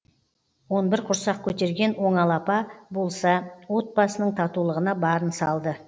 он бір құрсақ көтерген оңал апа болса отбасының татулығына барын салды